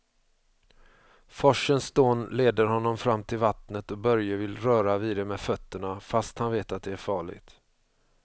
Forsens dån leder honom fram till vattnet och Börje vill röra vid det med fötterna, fast han vet att det är farligt.